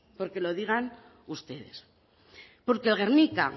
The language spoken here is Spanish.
porque lo digan ustedes porque gernika